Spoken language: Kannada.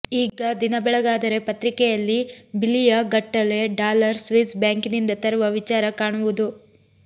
ಈಗ ದಿನ ಬೆಳಗಾದರೆ ಪತ್ರಿಕೆಯಲ್ಲಿ ಬಿಲಿಯಗಟ್ಟಲೆ ಡಾಲರ್ ಸ್ವಿಸ್ ಬಾಂಕಿನಿಂದ ತರುವ ವಿಚಾರ ಕಾಣುವುದು